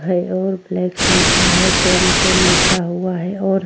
है और लिखा है। टोम टोम लिखा हुआ है और --